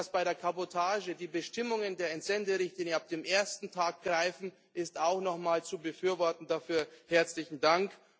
Dass bei der Kabotage die Bestimmungen der Entsenderichtlinie ab dem ersten Tag greifen, ist auch noch mal zu befürworten dafür herzlichen Dank.